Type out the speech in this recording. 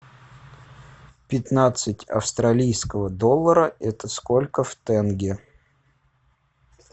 пятнадцать австралийского доллара это сколько в тенге